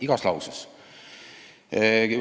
Igas lauses!